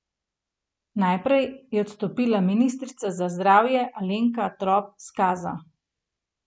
Najprej je odstopila ministrica za zdravje Alenka Trop Skaza.